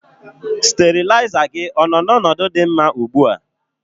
Steriliser gị ọ nọ n'ọnọdụ dị mma ugbu a?